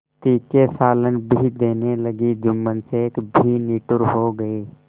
तीखे सालन भी देने लगी जुम्मन शेख भी निठुर हो गये